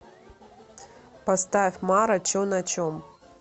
поставь мара че на чем